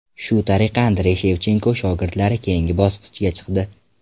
Shu tariqa Andrey Shevchenko shogirdlari keyingi bosqichga chiqdi.